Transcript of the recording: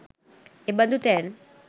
එබඳු තැන්